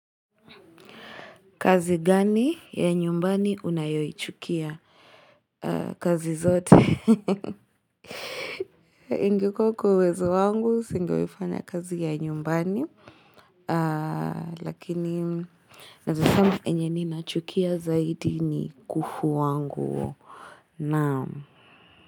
Kazi gani ya nyumbani unayoichukia? Kazi zote. Ingekuwa kwa uwezo wangu singewai fanya kazi ya nyumbani. Lakini naweza sema yenye ninachukia zaidi ni kufua nguo. Naam.